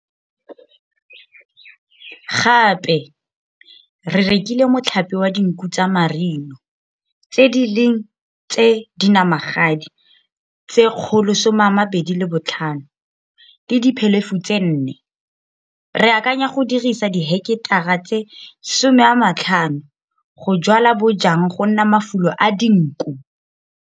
Gape, re rekile motlhape wa dinku tsa Marino, tse di leng tse dinamagadi tse 125 le diphelefu tse 4. Re akanya go dirisa diheketara tse 50 go jwala bojang go nna mafulo a dinku.